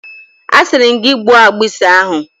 A siri m gi gbuo agbusi ahu!